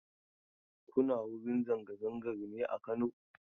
Kuna wurin zanga-zangar ne a Kano?